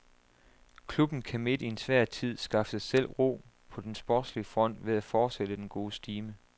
Klubben kan midt i en svær tid skaffe sig selv ro på den sportslige front ved at fortsætte den gode stime.